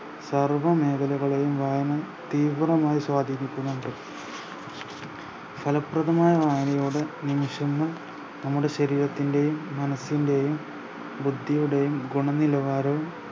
സർവ്വ മേഖലകളെയും വായന തീവ്രമായി സ്വാതീനിക്കുന്നുണ്ട് ഫലപ്രദമായ വായനയുടെ നിമിഷങ്ങൾ നമ്മുടെ ശരീരത്തിൻറെയും മനസ്സിൻറെയും ബുദ്ധിയുടെയും ഗുണനിലവാരം